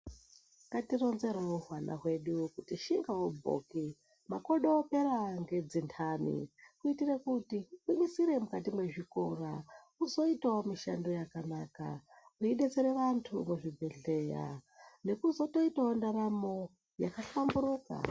Ngatironzerewo hwana hwedu kuti shingawo bhoki makodo opera ngenzendani kuitira kuti vagwinyisire mukati mezvikora hwuzoitawo mishando yakanaka veidetsera vantu muzvibhedhlera nekutozoitawo ndaramo yakahlamburuka.